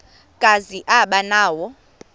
kazi aba nawo